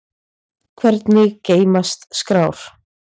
Hvernig geymast skrár?